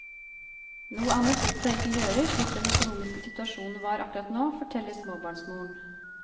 Noe annet lot seg ikke gjøre slik den økonomiske situasjonen var akkurat nå, forteller småbarnsmoren.